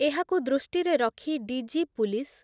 ଏହାକୁ ଦୃଷ୍ଟିରେ ରଖି ଡି ଜି ପୁଲିସ୍